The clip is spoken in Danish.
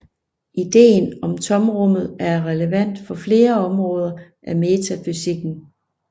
Idéen om Tomrummet er relevant for flere områder af metafysikken